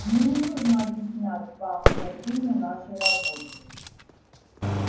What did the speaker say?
мне не нужно объяснять вам значение нашей работы